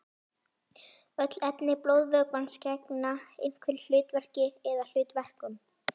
Öll efni blóðvökvans gegna einhverju hlutverki eða hlutverkum.